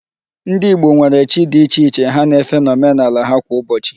Ndị Igbo nwere chi dị iche iche ha na-efe n'omenala ha kwá Ụbọchị.